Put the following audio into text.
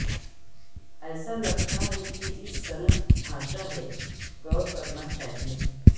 ایسا لگتا ہے کہ اس صنعت ڈھانچہ ہے غور کرنا چاہیے